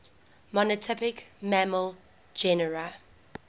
monotypic mammal genera